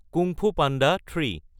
কুং Fu Panda three